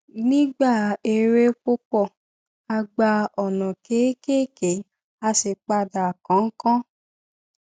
nígbà eré púpọ̀ a gba ònà kéékèèké a sì padà kánkán